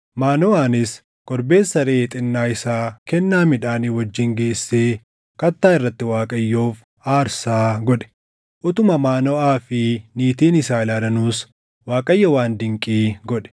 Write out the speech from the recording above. Maanoʼaanis korbeessa reʼee xinnaa isaa kennaa midhaanii wajjin geessee kattaa irratti Waaqayyoof aarsaa godhe. Utuma Maanoʼaa fi niitiin isaa ilaalanuus Waaqayyo waan dinqii godhe.